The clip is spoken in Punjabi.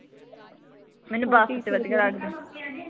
ਮੈਨੂੰ ਬਸ ਚ ਵਧੀਆ ਲੱਗਦਾ